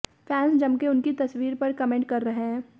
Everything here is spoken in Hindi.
फैन्स जमकर उनकी तस्वीर पर कमेंट कर रहे हैं